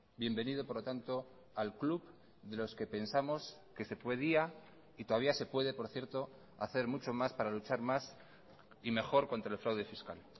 bienvenido por lo tanto al club de los que pensamos que se podía y todavía se puede por cierto hacer mucho más para luchar más y mejor contra el fraude fiscal